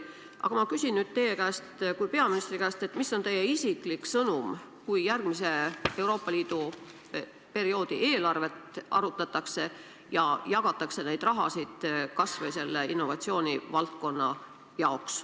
Aga ma küsin nüüd teie kui peaministri käest, mis on teie isiklik sõnum, kui järgmise Euroopa Liidu perioodi eelarvet arutatakse ja jagatakse raha kas või innovatsioonivaldkonna jaoks.